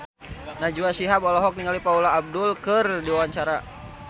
Najwa Shihab olohok ningali Paula Abdul keur diwawancara